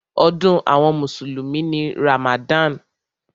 Ọdún àwọn mùsùlùmí ni Ramadan.